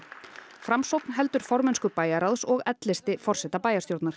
framsókn heldur formennsku bæjarráðs og l listi forseta bæjarstjórnar